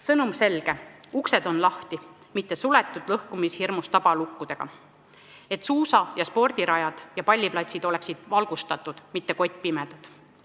Sõnum on selge: uksed peaks olema lahti, mitte lõhkumishirmus tabalukkudega suletud, suusa- ja spordirajad ning palliplatsid peaks olema valgustatud, mitte kottpimedad.